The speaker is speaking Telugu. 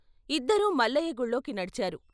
ఇద్దరూ మల్లయ్య గుళ్ళోకి నడిచారు.